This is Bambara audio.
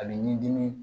A bɛ ni dimi